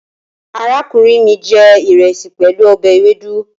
Arakunrin mi je iresi pelu obe ewedu